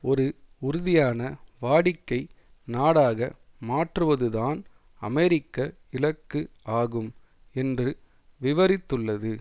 ஒரு உறுதியான வாடிக்கை நாடாக மாற்றுவதுதான் அமெரிக்க இலக்கு ஆகும் என்று விவரித்துள்ளது